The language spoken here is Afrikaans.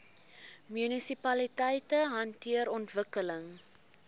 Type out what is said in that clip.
munisipaliteite hanteer ontwikkeling